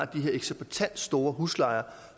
de her eksorbitant store huslejer